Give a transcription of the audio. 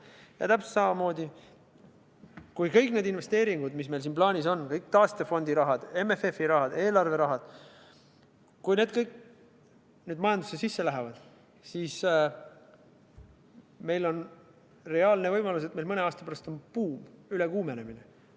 Ja täpselt samamoodi, kui kõik need investeeringud, mis meil siin plaanis on, kõik taastefondi rahad, MFF-i rahad, eelarverahad, majandusse sisse lähevad, siis on meil reaalne võimalus, et mõne aasta pärast on meil buum, ülekuumenemine.